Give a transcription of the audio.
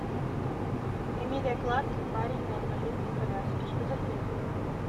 эмилия кларк и парень на инвалидной коляске что за фильм